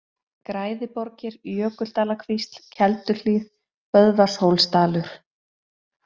Græðiborgir, Jökuldalakvísl, Kelduhlíð, Böðvarshólsdalur